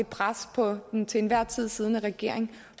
pres på den til enhver tid siddende regering